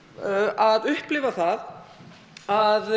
að upplifa það að